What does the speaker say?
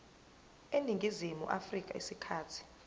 eningizimu afrika isikhathi